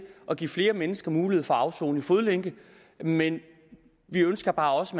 at give flere mennesker mulighed for at afsone i fodlænke men vi ønsker bare også